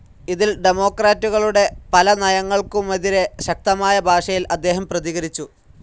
ഇതിൽ ഡെമോക്രാറ്റുകളുടെ പല നയങ്ങൾക്കുമെതിരേ ശക്തമായ ഭാഷയിൽ അദ്ദേഹം പ്രതികരിച്ചു.